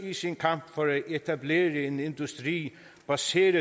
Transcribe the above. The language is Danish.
i sin kamp for at etablere en industri baseret